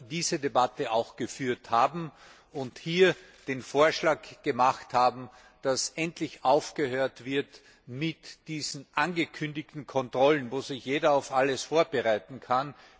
diese Debatte auch geführt haben und hier den Vorschlag gemacht haben, dass endlich aufgehört wird mit diesen angekündigten Kontrollen, wo sich jeder auf alles vorbereiten kann.